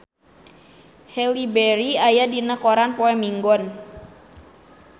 Halle Berry aya dina koran poe Minggon